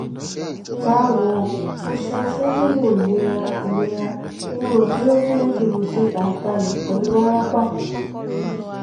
bawo o ṣeun fun lilo ilera ilera mo ro pe o ni rudurudu aibalẹ pẹlu warapa